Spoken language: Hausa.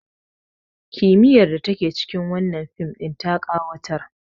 kimiyyar da take cikin wannan fim ɗin ta ƙawatar